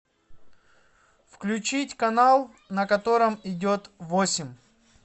включить канал на котором идет восемь